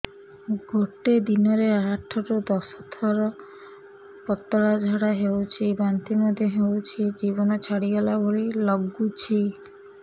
ଗୋଟେ ଦିନରେ ଆଠ ରୁ ଦଶ ଥର ପତଳା ଝାଡା ହେଉଛି ବାନ୍ତି ମଧ୍ୟ ହେଉଛି ଜୀବନ ଛାଡିଗଲା ଭଳି ଲଗୁଛି